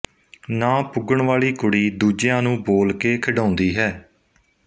ਨਾ ਪੁੱਗਣ ਵਾਲੀ ਕੁੜੀ ਦੂਜਿਆਂ ਨੂੰ ਬੋਲ ਕੇ ਖਿਡਾਉਂਦੀ ਹੈ